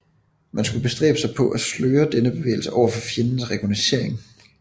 Man skulle bestræbe sig på at sløre denne bevægelse overfor fjendens rekognoscering